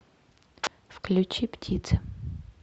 включи птицы